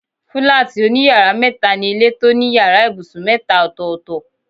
Fílátì òní yàrá métaa ni ilé tó ní yàrá ibùsùn métaa ọ̀tọ̀ọ̀tọ̀